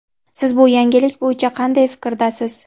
Siz bu yangilik bo‘yicha qanday fikrdasiz?.